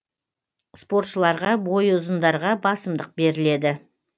спортшыларға бойы ұзындарға басымдық беріледі